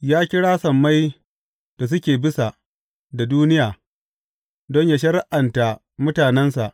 Ya kira sammai da suke bisa, da duniya, don yă shari’anta mutanensa.